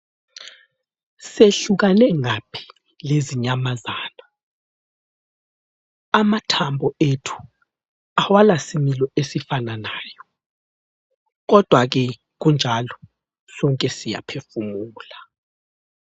Sehlukane ngaphi lezinyamazana, amathambo ethu awala similo esifananayo kodwa ke kunjalo sonke siyaphefumula.